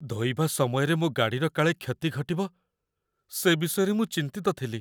ଧୋଇବା ସମୟରେ ମୋ ଗାଡ଼ିର କାଳେ କ୍ଷତି ଘଟିବ, ସେ ବିଷୟରେ ମୁଁ ଚିନ୍ତିତ ଥିଲି।